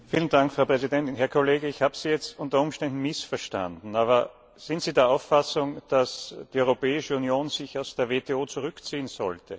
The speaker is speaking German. Frau Präsidentin! Herr Kollege, ich habe Sie jetzt unter Umständen missverstanden, aber sind Sie der Auffassung, dass sich die Europäische Union aus der WTO zurückziehen sollte?